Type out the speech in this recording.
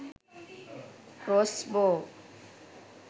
cross bow